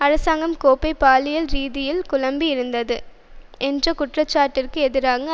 அரசாங்கம் கோப்பை பாலியல் ரீதியில் குழப்பி இருந்தது என்ற குற்றச்சாட்டிற்கு எதிரான